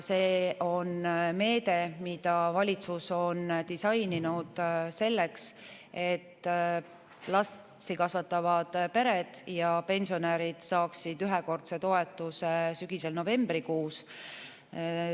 See on meede, mida valitsus on disaininud selleks, et lapsi kasvatavad pered ja pensionärid saaksid ühekordse toetuse sügisel novembrikuus.